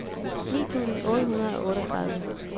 ni tusind otte hundrede og otteogtredive